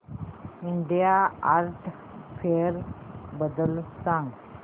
India Art Fair बद्दल सांग